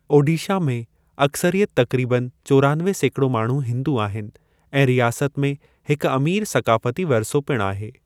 ओडीशा में अक्सरियत तक़रीबनि चौरानवे सैकिड़ो माण्हू हिन्दू आहिनि ऐं रियासत में हिकु अमीर सक़ाफ़ती वरिसो पिणु आहे।